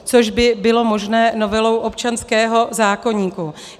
Což by bylo možné novelou občanského zákoníku.